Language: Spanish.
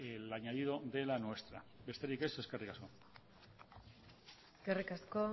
el añadido de la nuestra besterik ez eskerrik asko eskerrik asko